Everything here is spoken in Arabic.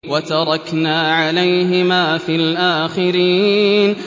وَتَرَكْنَا عَلَيْهِمَا فِي الْآخِرِينَ